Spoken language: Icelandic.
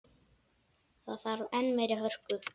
Það þarf enn meiri hörku!